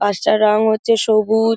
বাস টার রঙ হচ্ছে সবুজ--